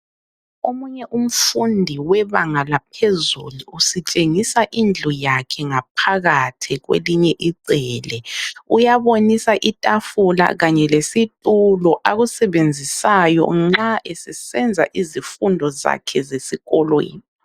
Omunye umfundi webanga laphezulu usitshengisa indlu yakhe ngaphakathi kwelinye icele. Uyabonisa itafula kanye lesitulo akusebenzisayo nxa esesenza izifundo zakhe zesikolweni.